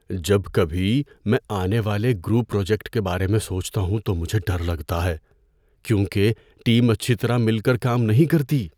جب کبھی میں آنے والے گروپ پراجیکٹ کے بارے میں سوچتا ہوں تو مجھے ڈر لگتا ہے کیونکہ ٹیم اچھی طرح مل کر کام نہیں کرتی۔